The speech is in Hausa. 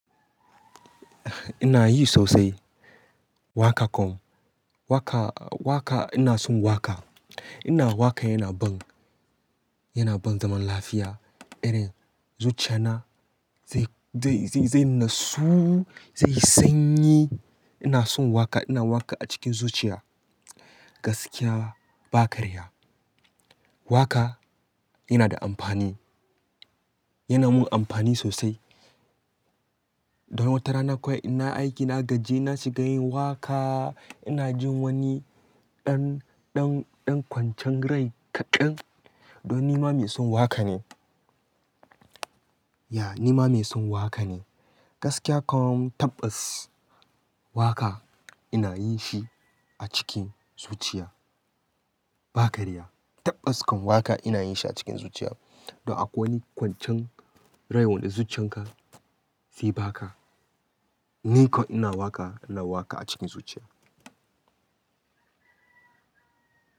Ina yi sosai waka kom. Waka, waka ina son waka. Ina wakaina wan, yana ban zaman lafiya, irin zuciya na zai, zai, zai nassu, zai sanyi. Ina son waka, ina waka a cikin zuciya. Gaskiya ba karya. Waka yana da amfani, yana mun amfani sosai. Don watarana kuwai ina aiki na gaji na shiga yin waka. Ina jin wani ɗar, ɗan, ɗan kwancen rai kaɗan. Don ni ma mai son waka ne. Ya ni ma mai son waka ne. Gaskiya kom tabbas waka ina yin shi a cikin zuciya ba karya. Tabbas kom waka ina yin shi a cikin zuciya. Don akwai wani kwancen rai wanda zuciyan ka ze ba ka. Ni kom ina waka, ina waka a cikin zuciya.